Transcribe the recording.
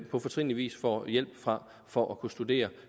på fortrinlig vis får hjælp fra for at kunne studere